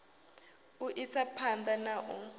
u isa phanḓa na u